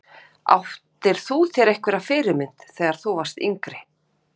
Áttir þú þér einhverja fyrirmynd þegar þú varst yngri?